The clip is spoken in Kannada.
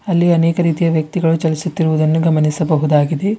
ಅಲ್ಲಿ ಅನೇಕ ರೀತಿಯ ವ್ಯಕ್ತಿಗಳು ಚಲಿಸುತ್ತಿರುವುದನ್ನು ಗಮನಿಸಬಹುದಾಗಿದೆ.